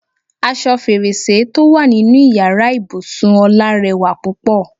Aṣọ fèrèsé tó wà nínú ìyára ibùsùn Ọlá rẹwà púpọ̀.